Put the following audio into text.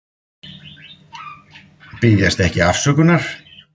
Biðjast ekki afsökunar